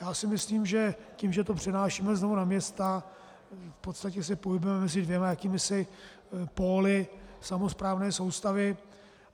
Já si myslím, že tím, že to přenášíme znovu na města, v podstatě se pohybujeme mezi dvěma jakýmisi póly samosprávné soustavy.